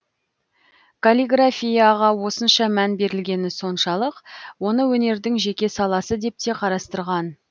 каллиграфияға осынша мән берілгені соншалық оны өнердің жеке саласы деп те қарастырған